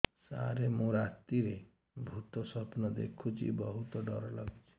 ସାର ମୁ ରାତିରେ ଭୁତ ସ୍ୱପ୍ନ ଦେଖୁଚି ବହୁତ ଡର ଲାଗୁଚି